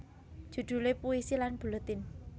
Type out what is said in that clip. Judule Puisi lan Buletin